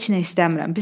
Heç nə istəmirəm.